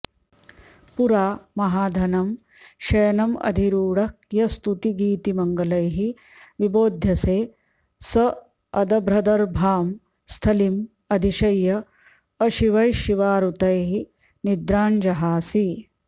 पुरा महाधनं शयनम् अधिरूढः यः स्तुतिगीतिमङ्गलैः विबोध्यसे सः अदभ्रदर्भां स्थलीम् अधिशय्य अशिवैः शिवारुतैः निद्रां जहासि